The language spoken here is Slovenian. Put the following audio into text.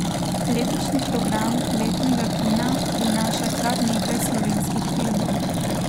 Letošnji program letnega kina prinaša kar nekaj slovenskih filmov.